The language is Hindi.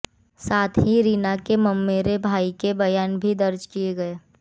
साथ ही रीना के ममेरे भाई के बयान भी दर्ज किए गए